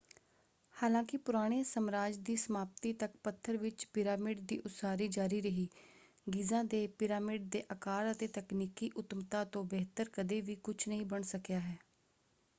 ਹਾਲਾਂਕਿ ਪੁਰਾਣੇ ਸਮਰਾਜ ਦੀ ਸਮਾਪਤੀ ਤੱਕ ਪੱਥਰ ਵਿੱਚ ਪਿਰਾਮਿਡ ਦੀ ਉਸਾਰੀ ਜਾਰੀ ਰਹੀ ਗੀਜ਼ਾ ਦੇ ਪਿਰਾਮਿਡ ਦੇ ਆਕਾਰ ਅਤੇ ਤਕਨੀਕੀ ਉੱਤਮਤਾ ਤੋਂ ਬਿਹਤਰ ਕਦੇ ਵੀ ਕੁਝ ਨਹੀਂ ਬਣ ਸਕਿਆ ਹੈ।